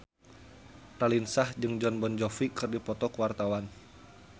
Raline Shah jeung Jon Bon Jovi keur dipoto ku wartawan